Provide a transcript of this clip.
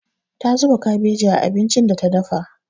Ta zuba kabeji a abincin da ta dafa.